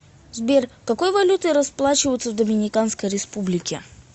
сбер какой валютой расплачиваются в доминиканской республике